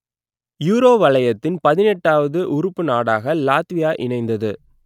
euro வலயத்தின் பதினெட்டுவது உறுப்பு நாடாக லாத்வியா இணைந்தது